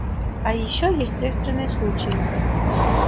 а ещё есть экстренные случаи